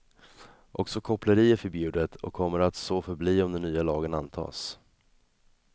Också koppleri är förbjudet och kommer att så förbli om den nya lagen antas.